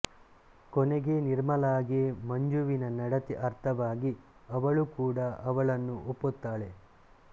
ಕೊನೆಗೆ ನಿರ್ಮಲಾಗೆ ಮಂಜುವಿನ ನಡತೆ ಅರ್ಥವಾಗಿ ಅವಳು ಕೂಡ ಅವಳನ್ನು ಒಪ್ಪುತ್ತಾಳೆ